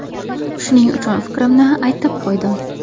Shuning uchun fikrimni aytdim-qo‘ydim.